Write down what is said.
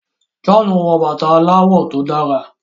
John wò bàtá aláwò tó dára.